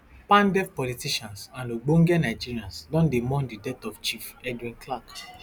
pandef politicians and ogbonge nigerians don dey mourn di death of chief edwin clark